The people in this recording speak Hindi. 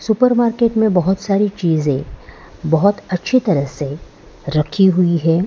सुपर मार्केट में बहोत सारी चीजे बहोत अच्छी तरह से रखी हुई है।